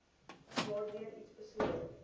waardeur iets besoedel